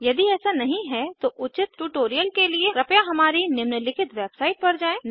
यदि ऐसा नहीं है तो उचित ट्यूटोरियल के लिए कृपया हमारी निम्नलिखित वेबसाईट पर जाएँ